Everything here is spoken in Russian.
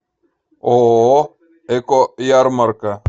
ооо эко ярмарка